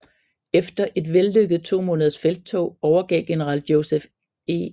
Efter et vellykket to måneders felttog overgav general Joseph E